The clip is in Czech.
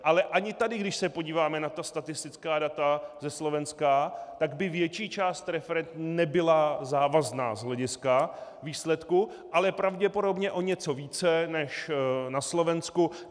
Ale ani tady, když se podíváme na ta statistická data ze Slovenska, tak by větší část referend nebyla závazná z hlediska výsledku, ale pravděpodobně o něco více než na Slovensku.